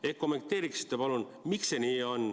Kas te kommenteeriksite, palun, miks see nii on?